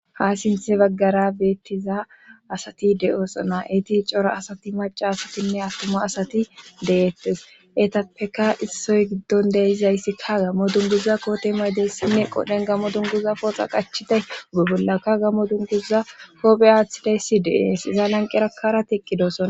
ha sinthe baggara beettiza asati de7oosona eti cora asati maca asatinne attoma asati deettes etapeka issoy giddon deizayssikka gammo dunguza koote maydeyssinne qodhen gammo dunguza pooxa qachiday ube bollakka gamo dunguza koope aaththidayssi deees iza lanqerakara tiqqidosona